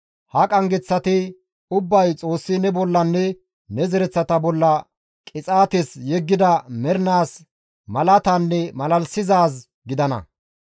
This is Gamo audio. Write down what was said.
Ha qanggeththati ubbay Xoossi ne bollanne ne zereththata bolla qixaates yeggida mernaas malaatanne malalisizaaz gidana.